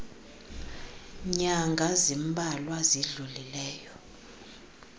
nyanga zimbalwa zidlulileyo